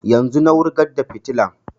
Yanzun na wurgar da fitilan